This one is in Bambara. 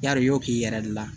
Yar'i y'o k'i yɛrɛ de la